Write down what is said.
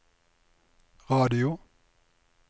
radio